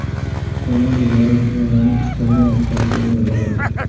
Tonali yarim himoyaning istalgan nuqtasida o‘ynay oladi.